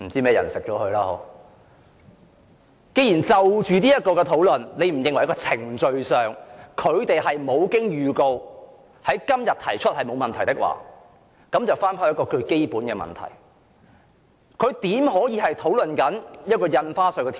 既然你認為在程序上，政府無經預告而在今天動議這項休會待續議案是沒有問題的，那麼我想討論一個基本問題。